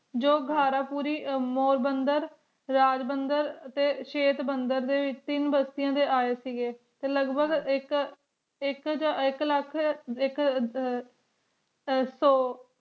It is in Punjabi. ਜੋ ਘਰ ਪੂਰੀ ਮੁਰ ਬੰਦਨ ਰਾਜ ਬੰਦਨ ਟੀ ਸ਼ੈਟ ਬੰਦਨ ਤੀਨ ਬਸ੍ਤੇਆਂ ਟੀ ਆਯ ਸੇ ਗੀ ਟੀ ਲਘ ਭਗਹ ਆਇਕ ਆਇਕ ਆਇਕ੍ਲਖ ਆਇਕ ਹਮਮ ਸੋ